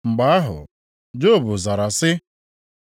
Mgbe ahụ, Job zara sị: